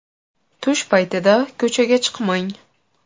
Tush paytida ko‘chaga chiqmang!